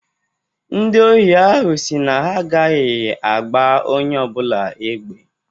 Ndị ohi ahụ si na ha agaghị agba onye ọ bụla egbe.